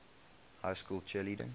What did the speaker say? high school cheerleading